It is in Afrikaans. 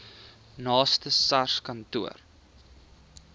naaste sars kantoor